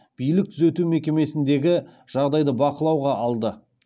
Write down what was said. билік түзету мекемесіндегі жағдайды бақылауға алды